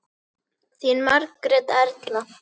Þín Margrét Erla.